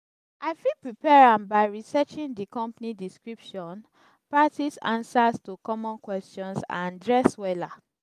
i fit prepare am by researching di company description practice answers to common questions and dress wella.